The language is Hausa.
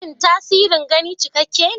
Shin tasirin gani cikakke ne?